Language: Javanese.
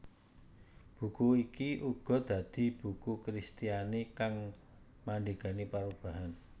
Buku iki uga dadi buku Kristiani kang mandhegani perubahan